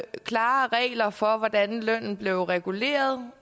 klare regler for hvordan lønnen blev reguleret